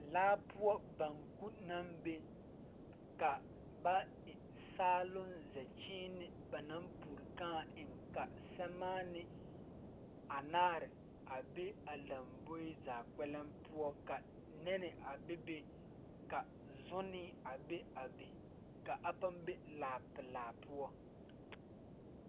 Laa poɔ banku naŋ be ka ba eŋ saaloŋ zɛkyiine naŋ pure kãã eŋ ka sɛmaanee anaare a be a lamboe zaa kpɛlɛŋ poɔ ka nɛnne a bebe ka zunee a be a be ka a paŋ be laa pilaa poɔ.